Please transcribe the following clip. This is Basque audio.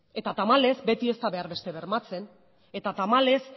eta tamalez beti ez da behar beste bermatzen eta tamalez